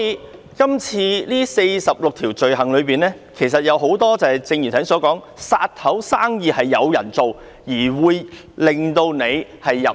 《逃犯條例》載列的46項罪類，很多屬於剛才所說的"殺頭生意有人做"，可能令人入獄。